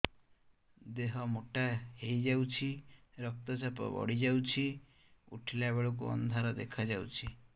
ଦେହ ମୋଟା ହେଇଯାଉଛି ରକ୍ତ ଚାପ ବଢ଼ି ଯାଉଛି ଉଠିଲା ବେଳକୁ ଅନ୍ଧାର ଦେଖା ଯାଉଛି